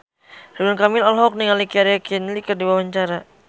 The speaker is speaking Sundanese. Ridwan Kamil olohok ningali Keira Knightley keur diwawancara